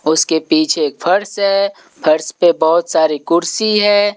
उसके पीछे एक फर्श है फर्श पे बहोत सारी कुर्सी है।